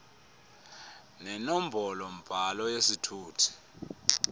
nenombolo mbhalo yesithuthi